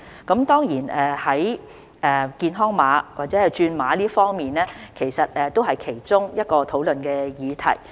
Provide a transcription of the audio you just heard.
健康碼或轉碼方面，也是其中一個討論的議題。